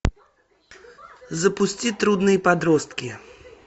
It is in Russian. запусти трудные подростки